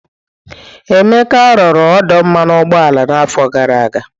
Emeka rụrụ ọdụ mmanụ ụgbọala n'afọ gara aga.